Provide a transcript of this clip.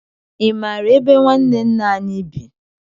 Ị mara ebe ñwanne nna anyị bị?